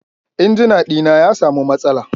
injina dina ya samu matsala.